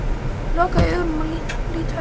Ég loka augunum og lýt höfði.